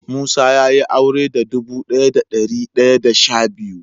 Musa ya Yi aure da dubu daya da dari daya da sha biyu.